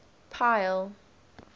pile